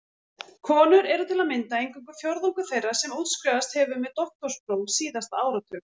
Konur eru til að mynda eingöngu fjórðungur þeirra sem útskrifast hefur með doktorspróf síðasta áratug.